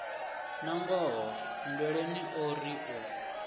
nangoho nndweleni o ri u